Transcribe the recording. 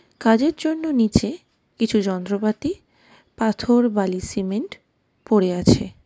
কাজের জন্য নিচে কিছু যন্ত্রপাতি পাথর বালি সিমেন্ট পড়ে আছে.